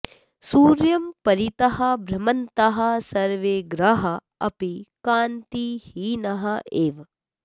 सूर्यं परितः भ्रमन्तः सर्वे ग्रहाः अपि कान्तिहीनाः एव